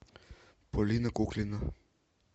полина куклина